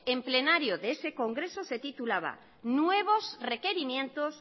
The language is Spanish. en plenario de ese congreso se titulaba nuevos requerimientos